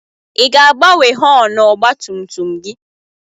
I ga-agbanwe họọnụ ọgba tum tum gị?